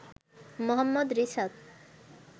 Mohammad Risat